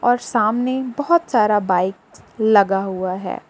और सामने बहुत सारा बाइक लगा हुआ है।